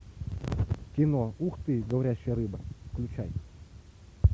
кино ух ты говорящая рыба включай